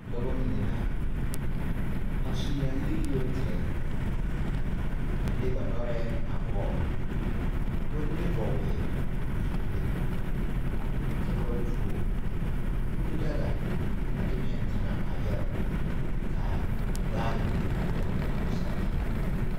Dɔba mine la a su yaayiri yoŋ tɛge a le ba noɔre a pɔgere ka ba mine vɔgele zapile kyɛ ka ba to kùù daga a de pɛne kaŋa a yɛrɛ pɔge kaa vaare mine a dɔgele o saa zu